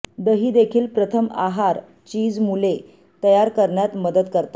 दही देखील प्रथम आहार चीज मुले तयार करण्यात मदत करतात